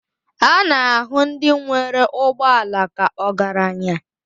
A na-ahụ ndị nwere ụgbọ ala ka ọgaranya